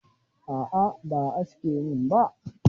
A'a ba a aske min ba.